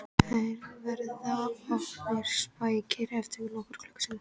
Þeir verða orðnir sprækir eftir nokkra klukkutíma